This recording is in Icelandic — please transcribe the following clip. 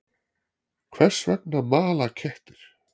Hvers vegna mala kettir?